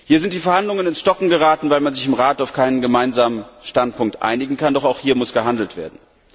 Hier sind die Verhandlungen ins Stocken geraten, weil man sich im Rat auf keinen Gemeinsamen Standpunkt einigen kann, doch auch hier muss gehandelt werden.